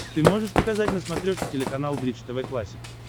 ты можешь показать на смотрешке телеканал бридж тв классик